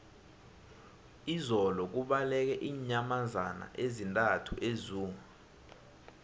izolo kubaleke iinyamazana ezisithandathu ezoo